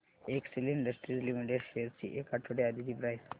Excel industries limited shares ची एक आठवड्या आधीची प्राइस